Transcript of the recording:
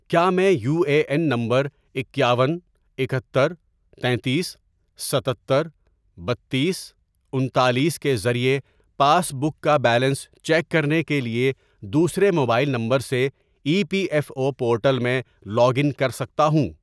کیا میں U A N number اکیاون، اکہتر، تینتیس، ستتر، بتیس ،انتالیس ،کے ذریعے پاس بک کا بیلنس چیک کرنے کے لیے دوسرے موبائل نمبر سے E P F O portal میں لاگ ان کر سکتا ہوں؟